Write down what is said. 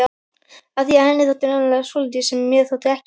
Af því henni þótti nefnilega svolítið sem mér þótti ekki.